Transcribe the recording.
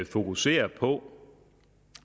fokusere på